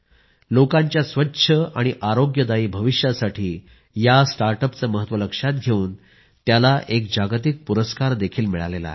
लोकांच्या स्वच्छ आणि आरोग्यदायी भविष्यासाठी या स्टार्टअपचं महत्व लक्षात घेवून त्याला एक जागतिक पुरस्कारही मिळाला आहे